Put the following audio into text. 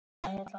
Hætt við þig.